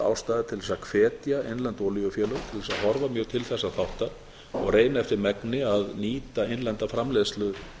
ástæða til þess að hvetja innlend olíufélög til þess að horfa mjög til þessa þáttar og reyna eftir megni að nýta innlenda framleiðslu